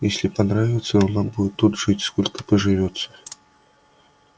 если понравится она будет тут жить сколько поживется